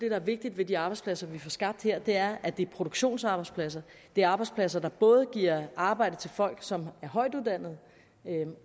er vigtigt ved de arbejdspladser vi får skabt her er at det er produktionsarbejdspladser det er arbejdspladser der både giver arbejde til folk som er højtuddannede